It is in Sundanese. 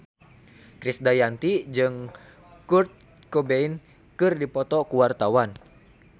Krisdayanti jeung Kurt Cobain keur dipoto ku wartawan